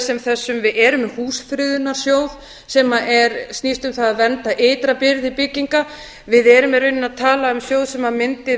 sem þessu við erum með húsafriðunarsjóð sem snýst um það að vernda ytra byrði bygginga við erum í rauninni að tala um sjóð sem mundi